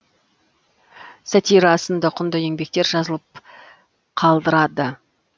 сатира сынды құнды еңбектер жазып қалдырды